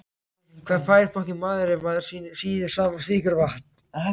Hvað fær maður ef maður sýður saman sykur og vatn?